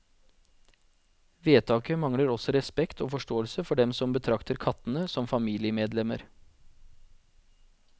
Vedtaket mangler også respekt og forståelse for dem som betrakter kattene som familiemedlemmer.